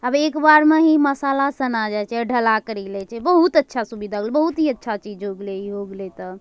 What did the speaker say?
अब एक बार म ही मसाला सना जा छे अ ढला करी ले छे बहुत अच्छा सुविधा होग्ले बहुत ही अच्छा चीज हो गइल इ हो गलय त।